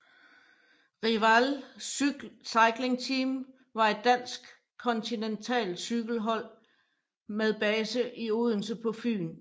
Riwal Cycling Team var et dansk kontinentalcykelhold med base i Odense på Fyn